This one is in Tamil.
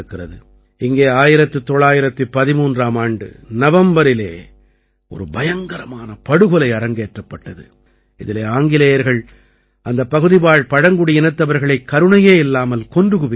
இங்கே 1913ஆம் ஆண்டு நவம்பரிலே ஒரு பயங்கரமான படுகொலை அரங்கேற்றப்பட்டது இதிலே ஆங்கிலேயர்கள் அந்தப் பகுதிவாழ் பழங்குடியினத்தவர்களைக் கருணையே இல்லாமல் கொன்று குவித்தார்கள்